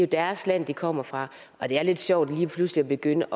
deres land de kommer fra og det er lidt sjovt lige pludselig at begynde